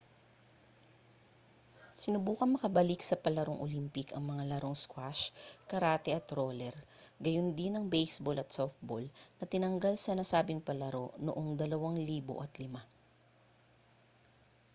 sinubukang makabalik sa palarong olympic ang mga larong squash karate at roller gayundin ang baseball at softball na tinanggal sa nasabing palaro noong 2005